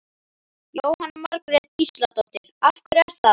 Jóhanna Margrét Gísladóttir: Af hverju er það?